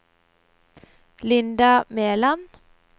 Linda Meland